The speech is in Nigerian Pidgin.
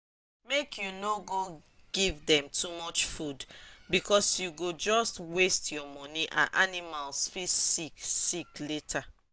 make you no give them too much food because u go just waste ur money and animals fit sick sick later